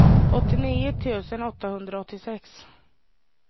åttionio tusen åttahundraåttiosex